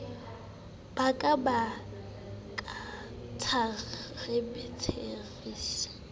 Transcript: ba ka a ka tshababeatrice